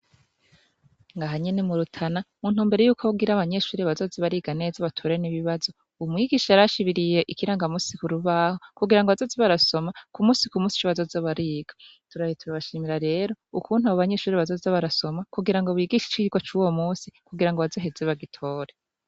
Aha nyene murutana muntumbero yukugira abanyeshure bazoze bariga neza batore nibibazo umwigisha yarashibiriye ikiranga musi kurubaho kugirango bazoze barasoma kumusi kumusi ico bazoza bariga tubaye turabashimira rero ukungene abo banyeshure bazoza barasoma kugirango bigiswe icirwa cuwo musi kugira bazoze baragitora